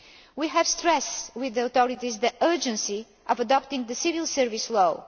We have stressed with the authorities the urgency of adopting the Civil Service